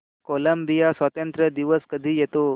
Colombia स्वातंत्र्य दिवस कधी येतो